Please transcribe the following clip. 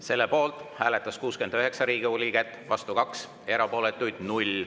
Selle poolt hääletas 69 Riigikogu liiget, vastu on 2, erapooletuid 0.